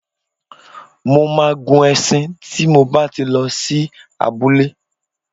Mo máa gun e̩s̩in tí mo bá ti lo̩ sí abúlé.